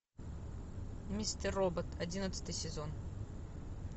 мистер робот одиннадцатый сезон